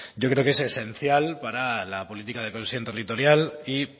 yo creo que es esencial para la política de cohesión territorial y